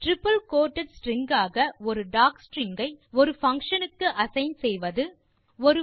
triple quoted string ஆக ஒரு docstring ஐ ஒரு பங்ஷன் க்கு அசைன் செய்வது